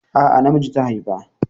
A'a na miji ta haifa.